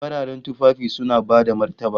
Fararen tufafi suna bada martaba